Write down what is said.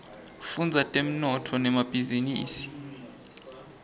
fudza temnotfo netemabhizinisa